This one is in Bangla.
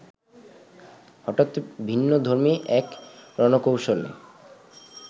হঠাৎ ভিন্নধর্মী এক রণকৌশলে